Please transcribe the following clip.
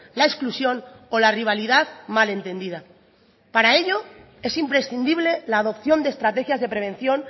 la exclusión o la rivalidad mal entendida para ello es imprescindible la adopción de estrategias de prevención